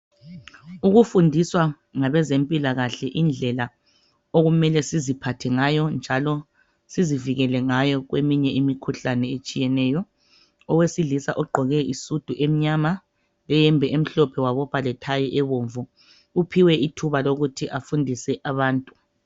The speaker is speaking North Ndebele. Ukufundiswa ngabezempilakahle indlela okumele siziphathe ngayo njalo sizivikele ngayo kweminye imikhuhlane etshiyeneyo owesilisa ogqoke isudu emnyama leyembe emhlophe wabopha lethayi ebomvu uphiwe ithuba lokuthi afundise abantu.